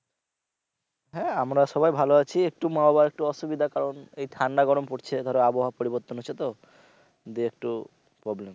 হ্যা আমরা সবাই ভালো আছি একটু মা আবার একটূ অসুবিধার কারণ এই ঠান্ডা গরম পরছে ধরো আবহাওয়া পরিবর্তন হচ্ছে তো দুই একটু problem